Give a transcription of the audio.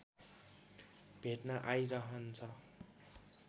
भेट्न आइरहन्छ